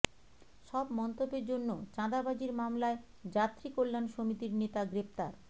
সব মন্তব্যের জন্য চাঁদাবাজির মামলায় যাত্রী কল্যাণ সমিতির নেতা গ্রেপ্তার